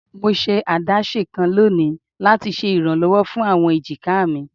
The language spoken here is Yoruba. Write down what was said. Mo ṣe adaṣe kan loni lati ṣe iranlọwọ fun awọn ejika mi